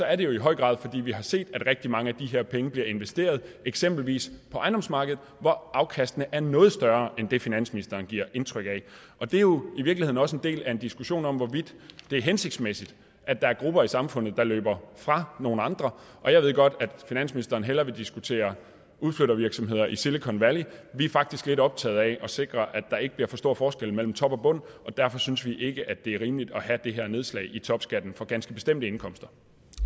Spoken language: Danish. er det jo i høj grad fordi vi har set at rigtig mange af de her penge bliver investeret eksempelvis på ejendomsmarkedet hvor afkastene er noget større end det finansministeren giver indtryk af det er jo i virkeligheden også en del af en diskussion om hvorvidt det er hensigtsmæssigt at der er grupper i samfundet der løber fra nogle andre jeg ved godt at finansministeren hellere vil diskutere udflyttervirksomheder i silicon valley vi er faktisk lidt optaget af at sikre at der ikke bliver for stor forskel mellem top og bund og derfor synes vi ikke at det er rimeligt at have det her nedslag i topskatten for ganske bestemte indkomster